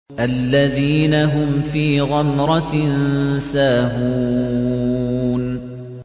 الَّذِينَ هُمْ فِي غَمْرَةٍ سَاهُونَ